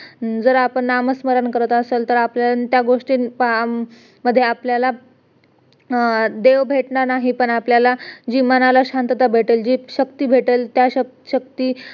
जर आपण नामस्मरण करत असेल तर त्याआपल्याला त्या गोष्टीमध्ये आपल्याला देव भेटणार नाही पण आपल्याला जी मनाला शांतता भेटेल जी शक्ती भेटेल त्या शक्ती